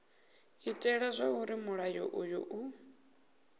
itela zwauri mulayo uyu u